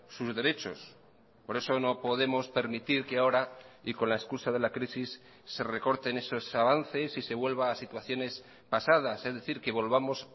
sus derechos por eso no podemos permitir que ahora y con la excusa de la crisis se recorten esos avances y se vuelva a situaciones pasadas es decir que volvamos